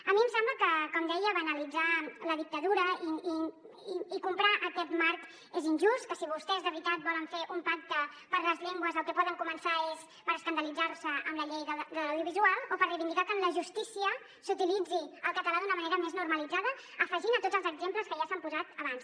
a mi em sembla que com deia banalitzar la dictadura i comprar aquest marc és injust que si vostès de veritat volen fer un pacte per les llengües el que poden començar és per escandalitzar se amb la llei de l’audiovisual o per reivindicar que en la justícia s’utilitzi el català d’una manera més normalitzada afegint a tots els exemples que ja s’han posat abans